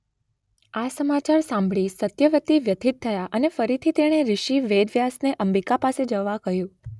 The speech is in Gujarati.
આ સમાચાર સાંભળી સત્યવતી વ્યથિત થયા અને ફરીથી તેણે ઋષિ વેદવ્યાસને અંબિકા પાસે જવા કહ્યું.